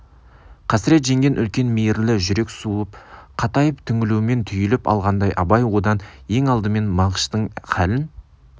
қасірет жеңген үлкен мейірлі жүрек суып қатайып түңілумен түйіліп алғандай абай одан ең алдымен мағыштың халін